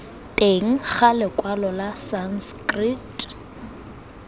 teng ga lekwalo la sanskrit